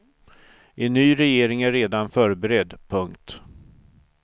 En ny regering är redan förberedd. punkt